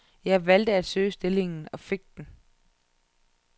Jeg valgte at søge stillingen og fik den.